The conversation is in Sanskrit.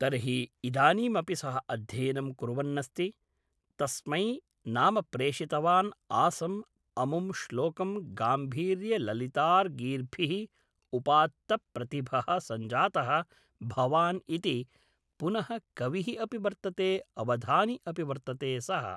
तर्हि इदानीमपि सः अध्ययनं कुर्वन् अस्ति तस्मै नाम प्रेषितवान् आसम् अमुं श्लोकं गाम्भीर्यललितार् गीर्भिः उपात्तप्रतिभः सञ्जातः भवान् इति पुनः कविः अपि वर्तते अवधानि अपि वर्तते सः